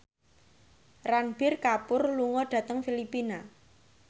Ranbir Kapoor lunga dhateng Filipina